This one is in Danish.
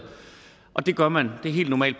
og det gør man det er helt normal